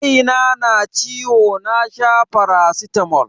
Kaina na ciwo na sha faracitamol.